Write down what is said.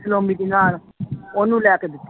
ਉਹਨੂੰ ਲੈ ਕੇ ਦਿੱਤੀ